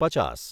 પચાસ